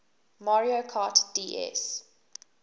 mario kart ds